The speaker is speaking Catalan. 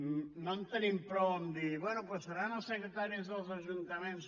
no en tenim prou amb dir bé doncs seran els secretaris dels ajuntaments